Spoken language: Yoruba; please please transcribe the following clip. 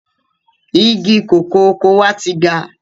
Igi kòkó oko wa ti ga.